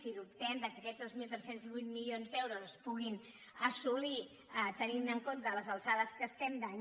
i dubtem que aquests dos mil tres cents i vuit milions d’euros es puguin assolir tenint en compte les alçades que estem d’any